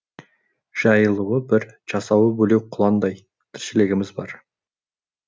жайылуы бір жусауы бөлек құландай тіршілігіміз бар